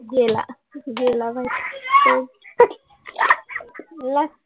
गेला गेला बाई लाजतोय